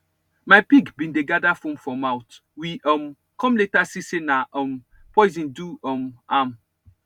my pig been dey gather foam for mouth we um come later see say na um poison do um am